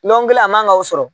Nɔnkɔkun kelen a man k'aw sɔrɔ